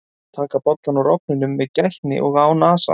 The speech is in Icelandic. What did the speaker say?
Taka bollann úr ofninum með gætni og án asa.